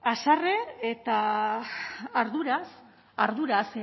haserre eta arduraz arduraz